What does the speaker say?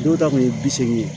Dɔw ta kun ye bi seegin ye